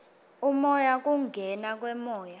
umoya kungena kwemoya